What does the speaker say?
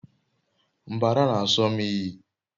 mbara n'aso m iyi